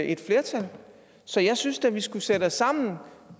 et flertal så jeg synes da vi skulle sætte os sammen